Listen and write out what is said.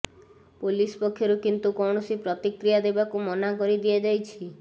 police ପକ୍ଷରୁ କିନ୍ତୁ କୌଣସି ପ୍ରତିକ୍ରିୟା ଦେବାକୁ ମନା କରିଦିଆଯାଇଛି